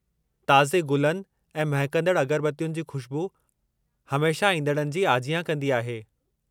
ताज़े गुलनि ऐं महिकंदड़ु अगरबत्तियुनि जी खु़शबू, हमेशह ईंदड़नि जी आजियां कंदी आहे।